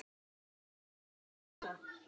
Jesús minn, Dóri á Her!